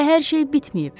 Hələ hər şey bitməyib.